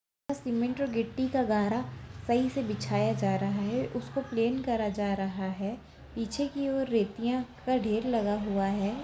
सीमेंट और गिट्टी का गारा सही से बिछाया जा रहा है उसको प्लेन करा जा रहा है पीछे की और रेतीयाँ का ढेर लगा हुआ है।